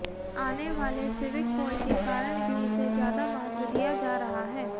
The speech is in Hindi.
आने वाले सिविक पोल के कारण भी इसे ज्यादा महत्व दिया जा रहा है